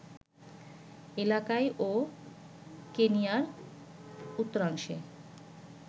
এলাকায় ও কেনিয়ার উত্তরাংশে